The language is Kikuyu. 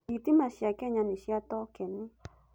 Thitima cia Kenya nĩ cia tokeni.